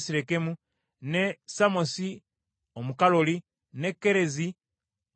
ne Sammosi Omukalooli, ne Kerezi Omuperoni;